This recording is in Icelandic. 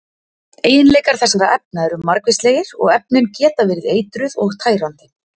Eiginleikar þessara efna eru margvíslegir og efnin geta verið eitruð og tærandi.